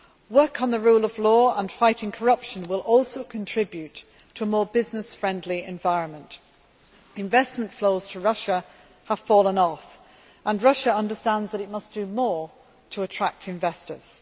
Work on the rule of law and fighting corruption will also contribute to a more business friendly environment. Investment flows to Russia have fallen off, and Russia understands it must do more to attract investors.